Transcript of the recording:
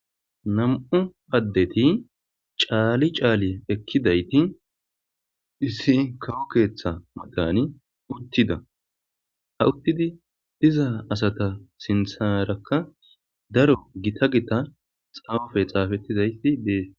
nam7u addeti caali caali ekkidayti issi kawo keeththa matani uttida hawuttidi diza asata sinsarakka daro gita gita xaamafe xaafettizayti dees